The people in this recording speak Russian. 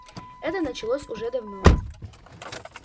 это началось уже давно